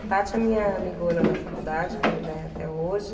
A Tati é minha amigona da faculdade, que ainda é até hoje.